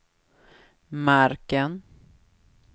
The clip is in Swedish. marken